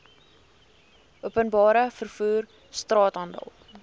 openbare vervoer straathandel